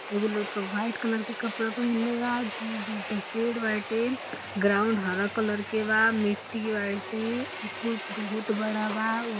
ये वो लड़का व्हाइट कलर के कपड़ा पहन लेवा दूर-दूर तक पेड़ बाटे ग्राउन्ड हरा कलर के बा मिट्टी बाटे स्कूल बहुत बड़ा बा।